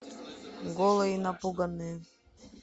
голые и напуганные